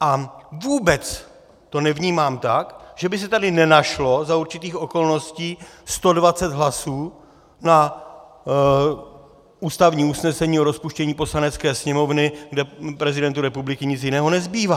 A vůbec to nevnímám tak, že by se tady nenašlo za určitých okolností 120 hlasů na ústavní usnesení o rozpuštění Poslanecké sněmovny, kde prezidentu republiky nic jiného nezbývá.